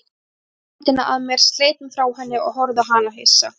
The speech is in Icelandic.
Kippti hendinni að mér, sleit mig frá henni og horfði á hana hissa.